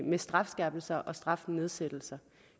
med strafskærpelser og strafnedsættelser